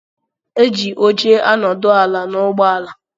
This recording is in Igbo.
Eji óche anodu ala na ụgbọ ala.